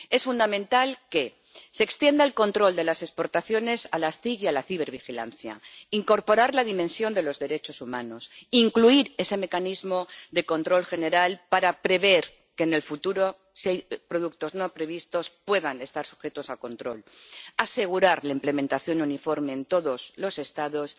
Es fundamental extender el control de las exportaciones a las TIC y a la cibervigilancia, incorporar la dimensión de los derechos humanos, incluir ese mecanismo de control general para prever que en el futuro productos no previstos puedan estar sujetos a control y asegurar la implementación uniforme en todos los Estados.